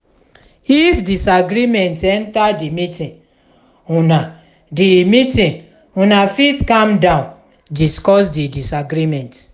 if disagreement enter di meeting una di meeting una fit calm down discuss di disagreement